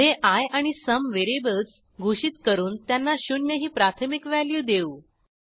पुढे आय आणि sum variables घोषित करून त्यांना शून्य ही प्राथमिक व्हॅल्यू देऊ